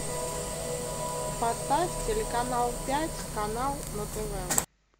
поставь телеканал пять канал на тв